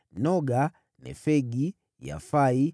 Noga, Nefegi, Yafia,